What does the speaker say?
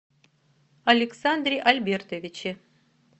александре альбертовиче